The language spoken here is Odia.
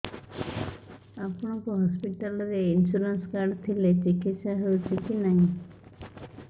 ଆପଣଙ୍କ ହସ୍ପିଟାଲ ରେ ଇନ୍ସୁରାନ୍ସ କାର୍ଡ ଥିଲେ ଚିକିତ୍ସା ହେଉଛି କି ନାଇଁ